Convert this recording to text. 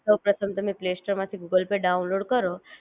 સૌપ્રથમ તમે play store માં થી ગૂગલ પે ડાઉનલોડ કરો